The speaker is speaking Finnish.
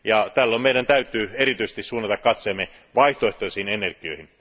Tällöin meidän täytyy erityisesti suunnata katseemme vaihtoehtoisiin energioihin.